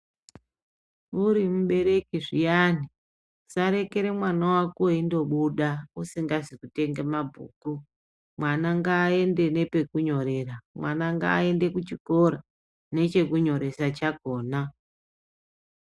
Muri mubereki zviyani usarekere mwana wako eindobuda usingazi kutenga mabhuku mwana ngaaende nepekunyorera mwana ngaaende kuchikora nechekunyoresa chakhona.